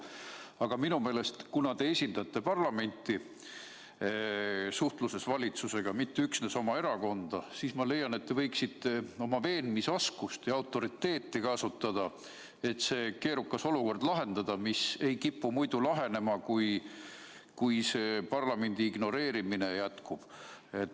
Aga minu meelest, kuna te esindate suhtluses valitsusega parlamenti, mitte üksnes oma erakonda, te võiksite kasutada oma veenmisoskust ja autoriteeti, et lahendada see keerukas olukord, mis ei kipu muidu lahenema, kui see parlamendi ignoreerimine jätkub.